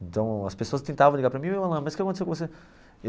Então, as pessoas tentavam ligar para mim ô Alan, mas o que aconteceu com você?